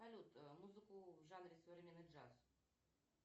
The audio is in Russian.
салют музыку в жанре современный джаз